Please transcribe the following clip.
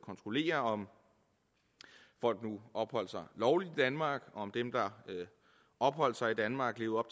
kontrollere om folk nu opholdt sig lovligt i danmark altså om dem der opholdt sig i danmark levede